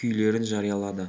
күйлерін жариялады